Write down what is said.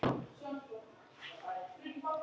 Föndra- teikna- mála- lita